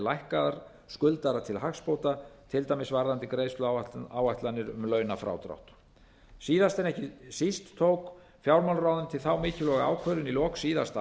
lækkaðar skuldara til hagsbóta til dæmis varðandi greiðsluáætlanir um launafrádrátt síðast en ekki síst tók fjármálaráðuneytið þá mikilvægu ákvörðun í lok síðasta